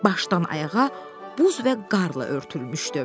Başdan ayağa buz və qar ilə örtülmüşdü.